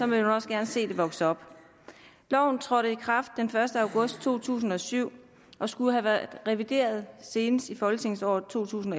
man også gerne se det vokse op loven trådte i kraft den første august to tusind og syv og skulle have været revideret senest i folketingsåret to tusind